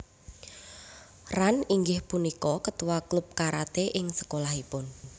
Ran inggih punika ketua klub karate ing sekolahipun